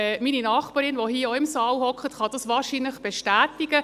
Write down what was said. Meine Nachbarin, die hier auch im Saal sitzt, kann das wahrscheinlich bestätigen.